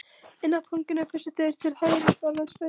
Inn af ganginum, fyrstu dyr til hægri, svaraði Sveinn.